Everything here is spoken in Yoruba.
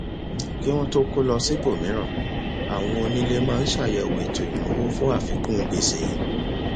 kí wọn tó kó lọ síbòmíràn àwọn onílé máa ń ṣàyẹwò ètò ìnáwó fún àfikún gbèsè